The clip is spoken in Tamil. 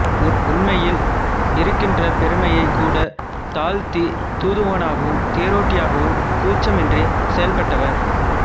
உண்மையில் இருக்கின்ற பெருமையைக் கூடத் தாழ்த்தித் தூதனாகவும் தேரோட்டியாகவும் கூச்சமின்றிச் செயல்பட்டவர்